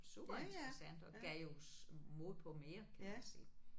Super interessant og gav jo mod på mere kan man sige